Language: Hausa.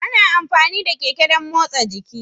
Ana amfani da Keke dan motsa jiki.